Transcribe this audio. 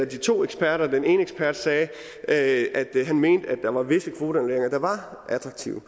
to eksperter og den ene ekspert sagde at han mente at der var visse kvoteannulleringer der var attraktive